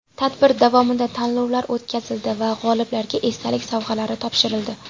Tadbir davomida tanlovlar o‘tkazildi va g‘oliblarga esdalik sovg‘alari topshirildi.